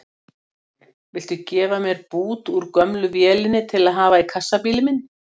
Viltu gefa mér bút úr gömlu vélinni til að hafa í kassabílinn minn?